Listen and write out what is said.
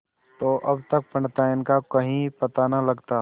तो अब तक पंडिताइन का कहीं पता न लगता